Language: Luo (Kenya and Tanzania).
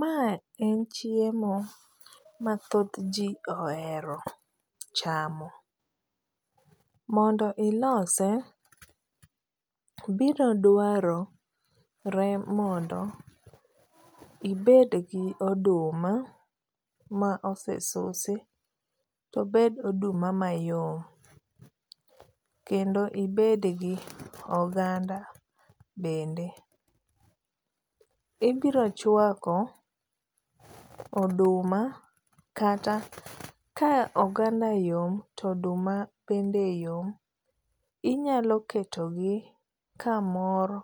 Ma en chiemo ma thothji ohero chamo. Mondo ilose biro dwarore mondo ibed gi oduma mosesusi to obed oduma mayom kendo ibed gi oganda bende. Ibiro chuako oduma kata ka oganda yom, to oduma bende yom, inyalo ketogi kamoro